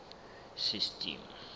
system